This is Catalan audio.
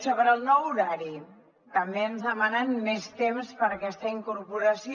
sobre el nou horari també ens demanen més temps per a aquesta incorporació